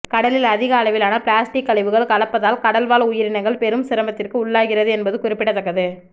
கடலில் அதிக அளவிலான பிளாஸ்டிக் கழிவுகள் கலப்பதால் கடல்வாழ் உயிரினங்கள் பெரும் சிரமத்திற்கு உள்ளாகிறது என்பது குறிப்பிடத்தக்கது